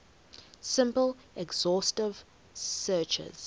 simple exhaustive searches